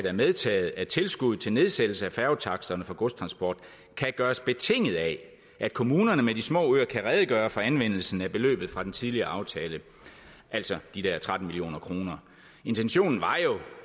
er medtaget at tilskuddet til nedsættelse af færgetaksterne for godstransport kan gøres betinget af at kommunerne med de små øer kan redegøre for anvendelsen af beløbet fra den tidligere aftale altså de der tretten million kroner intentionen var